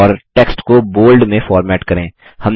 और टेक्स्ट को बोल्ड में फॉर्मेट करें